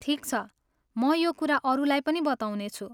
ठिक छ, म यो कुरा अरूलाई पनि बताउनेछु।